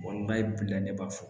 bilen ne b'a fɔ